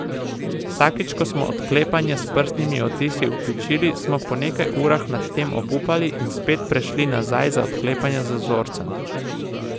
Vsakič, ko smo odklepanje s prstnimi odtisi vključili, smo po nekaj urah nad tem obupali, in spet prešli nazaj na odklepanje z vzorcem.